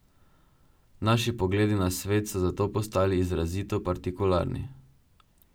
Naši pogledi na svet so zato postali izrazito partikularni ...